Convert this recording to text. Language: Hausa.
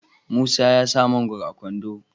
musa ya sa mangoron a kwando